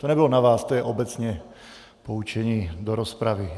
To nebylo na vás, to je obecně poučení do rozpravy.